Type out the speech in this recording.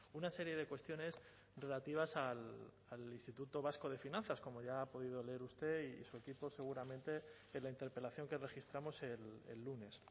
una serie de cuestiones relativas al instituto vasco de finanzas como ya ha podido leer usted y su equipo seguramente en la interpelación que registramos el lunes